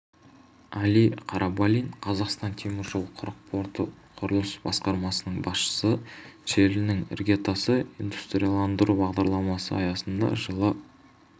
әли қарабалин қазақстан темір жолы құрық порты құрылыс басқармасының басшысы желінің іргетасы индустрияландыру бағдарламасы аясында жылы